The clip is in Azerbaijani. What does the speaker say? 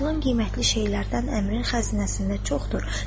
Aparılan qiymətli şeylərdən əmrin xəzinəsində çoxdur.